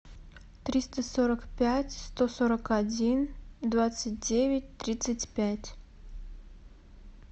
триста сорок пять сто сорок один двадцать девять тридцать пять